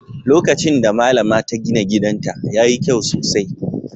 Lokacin da Mallama ta gina gidanta, ya yi kyau sosai